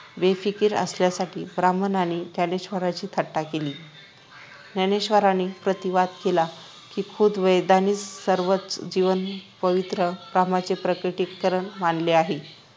बेफिकिर असल्या साठी ब्राम्हणांनी ज्ञानेश्वरांची थट्टा केली ज्ञानेश्वरांनी प्रतिवाद केला कि खुद्द वेदांनीच सर्वच जीवन पवित्र कामाचे प्रकटीकरण मानले आहे